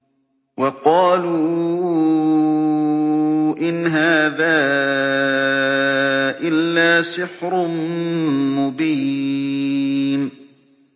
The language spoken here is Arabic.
وَقَالُوا إِنْ هَٰذَا إِلَّا سِحْرٌ مُّبِينٌ